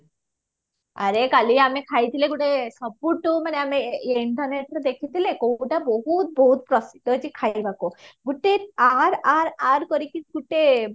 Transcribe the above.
ଆରେ କାଲି ଆମେ ଖାଇଇଥିଲେ ଗୋଟେ ସବୁଠୁ ମାନେ ଆମେ internetରେ ଦେଖିଥିଲେ କଉଟା ବହୁତ ବହୁତ ପ୍ରସିଦ୍ଧ ହେଇଛି ଖାଇବାକୁ ଗୋଟେ ଆର ଆର ଆର କରିକି ଗୋଟେ